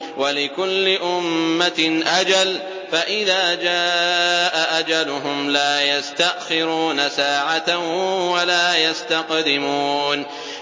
وَلِكُلِّ أُمَّةٍ أَجَلٌ ۖ فَإِذَا جَاءَ أَجَلُهُمْ لَا يَسْتَأْخِرُونَ سَاعَةً ۖ وَلَا يَسْتَقْدِمُونَ